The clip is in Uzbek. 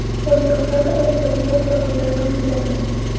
Oliygohlarda majburiy soat va kunlar belgilanmaydi.